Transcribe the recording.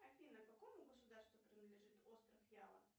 афина какому государству принадлежит остров ява